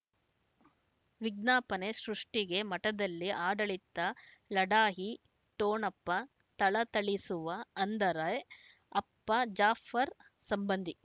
ವಿಜ್ಞಾಪನೆ ಸೃಷ್ಟಿಗೆ ಮಠದಲ್ಲಿ ಆಡಳಿತ ಲಢಾಯಿ ಠೊಣಪ ತಳತಳಿಸುವ ಅಂದರೆ ಅಪ್ಪ ಜಾಫರ್ ಸಂಬಂಧಿ